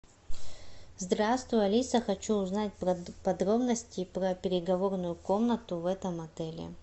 здравствуй алиса хочу узнать подробности про переговорную комнату в этом отеле